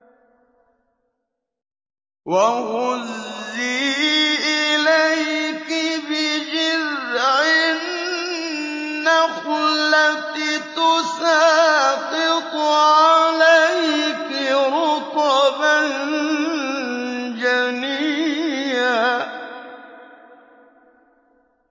وَهُزِّي إِلَيْكِ بِجِذْعِ النَّخْلَةِ تُسَاقِطْ عَلَيْكِ رُطَبًا جَنِيًّا